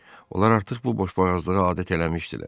Onlar artıq bu boşboğazlığa adət eləmişdilər.